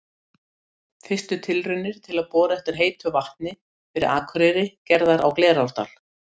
Fyrstu tilraunir til að bora eftir heitu vatni fyrir Akureyri gerðar á Glerárdal.